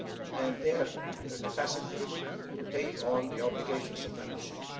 and its capacity to take on the obligations of membership.